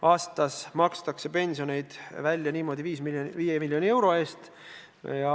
Aastas makstakse pensionit niimoodi välja 5 miljoni euro eest.